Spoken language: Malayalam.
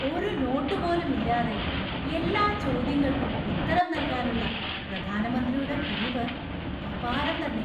ഒരു നോട്ടുപോലും ഇല്ലാതെ എല്ലാ ചോദ്യങ്ങൾക്കും ഉത്തരം നൽകാനുള്ള പ്രധാനമന്ത്രിയുടെ കഴിവ് അപാരം തന്നെ!